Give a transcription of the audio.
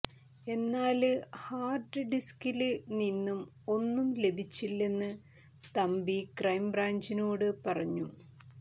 എന്നാല് ഹാര്ഡ് ഡിസ്കില് നിന്നും ഒന്നും ലഭിച്ചില്ലെന്ന് തമ്പി ക്രൈംബ്രാഞ്ചിനോട് പറഞ്ഞു